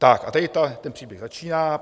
Tak a tady ten příběh začíná.